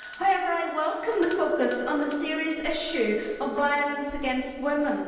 However, I welcome the focus on the serious issue of violence against women.